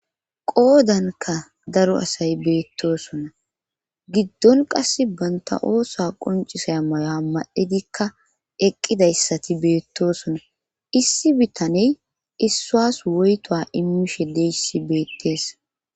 Qoodanka daro asay beettosona giddon qase banta oosa qoncisay maya madhidikka eqqidayssati beettosona issi bittaney issaas woyto immishe leyssi beettees.